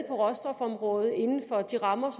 råstofområdet inden for de rammer